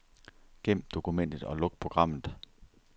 Gem dokumentet og luk programmet.